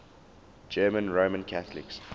german roman catholics